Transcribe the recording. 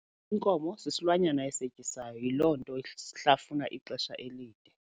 Inkomo sisilwanyana esetyisayo yiloo nto shlafuna ixesha elide.